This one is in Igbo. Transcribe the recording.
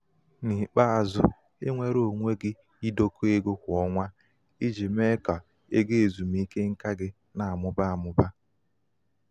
n'ikpeazụ um i nweere onwe gị idokọ ego kwa ọnwa i ji mee ka ji mee ka égo ezumike nká gị um na-amụba amụba.